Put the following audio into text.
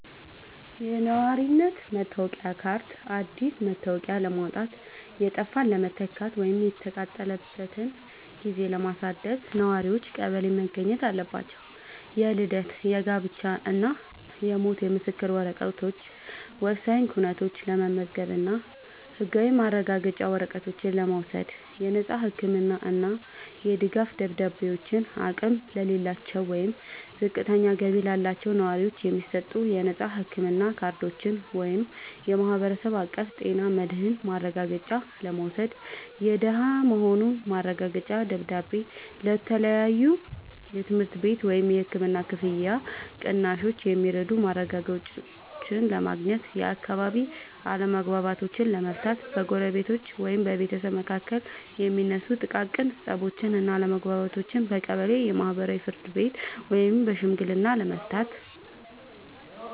የነዋሪነት መታወቂያ ካርድ፦ አዲስ መታወቂያ ለማውጣት፣ የጠፋን ለመተካት ወይም የተቃጠለበትን ጊዜ ለማደስ ነዋሪዎች ቀበሌ መገኘት አለባቸው። የልደት፣ የጋብቻ እና የሞት ምስክር ወረቀቶች፦ ወሳኝ ኩነቶችን ለመመዝገብ እና ህጋዊ ማረጋገጫ ወረቀቶችን ለመውሰድ። የነፃ ህክምና እና የድጋፍ ደብዳቤዎች፦ አቅም ለሌላቸው ወይም ዝቅተኛ ገቢ ላላቸው ነዋሪዎች የሚሰጡ የነፃ ህክምና ካርዶችን (የማህበረሰብ አቀፍ ጤና መድህን ማረጋገጫ) ለመውሰድ። የደሃ መሆኑ ማረጋገጫ ደብዳቤ፦ ለተለያዩ የትምህርት ቤት ወይም የህክምና ክፍያ ቅናሾች የሚረዱ ማረጋገጫዎችን ለማግኘት። የአካባቢ አለመግባባቶችን ለመፍታት፦ በጎረቤቶች ወይም በቤተሰብ መካከል የሚነሱ ጥቃቅን ፀቦችን እና አለመግባባቶችን በቀበሌ የማህበራዊ ፍርድ ቤት ወይም በሽምግልና ለመፍታት።